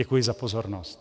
Děkuji za pozornost.